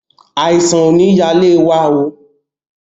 Àìsàn ò ní ya ilé wa oo.